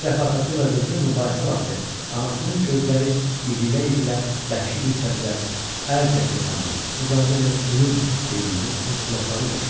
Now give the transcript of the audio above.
Amma bir dəfə atası ilə qızı mübahisə vaxtı anasının gözləri irilə-irilə, bəhşi bir səslə "Əl çək yaxamdan! İcazə ver ölüm!" dediyini öz qulaqları ilə eşitmişdi.